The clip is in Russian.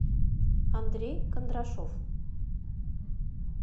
андрей кондрашов